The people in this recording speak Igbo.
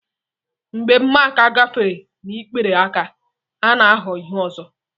Mgbe mmaaka gafere n'ikpere aka, ọ na-aghọ ihe ọzọ.